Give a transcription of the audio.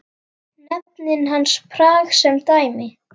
Nefnir hann Prag sem dæmi.